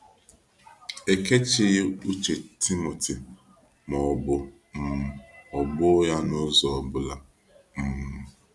Ekechighi uche Timothy ma ọ bụ um ghọbuo ya n’ụzọ ọ bụla. um